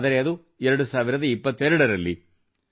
ಆದರೆ ಅದು 2022 ರಲ್ಲಿ